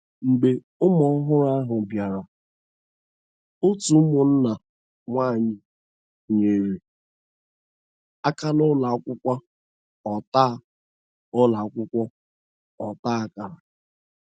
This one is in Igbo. Mgbe ụmụ ọhụrụ ahụ bịara, otu ụmụnna nwanyị nyere aka na ụlọ akwụkwọ ọta ụlọ akwụkwọ ọta akara.